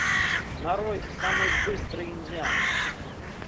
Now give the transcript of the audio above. нарой самый быстрый индиан